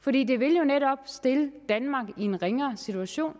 for det det vil jo netop stille danmark i en ringere situation